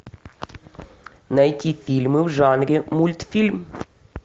найти фильмы в жанре мультфильм